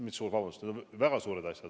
Mis suured, vabandust, need on väga suured asjad.